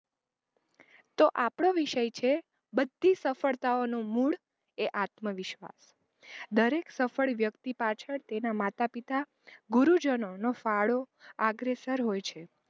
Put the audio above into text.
તો આપણો વિષય છે બધી સફળતાઑનો મૂડ એ આત્મવિશ્વાસ દરેક સફ્ળ વ્યક્તિ પાછડ તેનાં માતા-પિતા ગુરુજનોનો ફાળો આગ્રેસર હોય છે.